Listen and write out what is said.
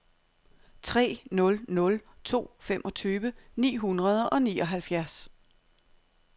tre nul nul to femogtyve ni hundrede og nioghalvfjerds